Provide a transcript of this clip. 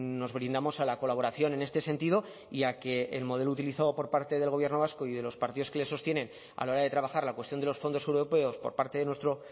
nos brindamos a la colaboración en este sentido y a que el modelo utilizado por parte del gobierno vasco y de los partidos que le sostienen a la hora de trabajar la cuestión de los fondos europeos por parte de nuestro